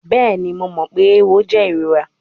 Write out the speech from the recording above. Bẹẹni, Mo mọ pe ewo jẹ irora